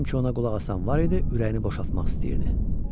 Madam ki ona qulaq asan var idi, ürəyini boşaltmaq istəyirdi.